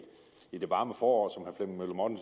det varme forår